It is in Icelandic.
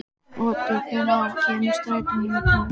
Otur, hvenær kemur strætó númer tólf?